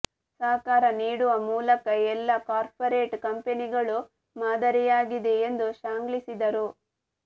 ಸಹಕಾರ ನೀಡುವ ಮೂಲಕ ಎಲ್ಲ ಕಾರ್ಪೋರೇಟ್ ಕಂಪನಿಗಳಿಗೂ ಮಾದರಿಯಾಗಿದೆ ಎಂದು ಶ್ಲಾಘಿಸಿದರು